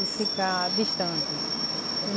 E ficar distante.